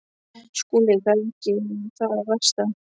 SKÚLI: Það var ekki það versta.